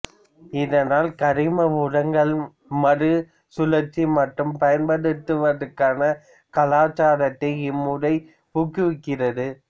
இதனால் கரிம உரங்களை மறுசுழற்சி மற்றும் பயன்படுத்துவதற்கான கலாச்சாரத்தை இம்முறை ஊக்குவிக்கிறது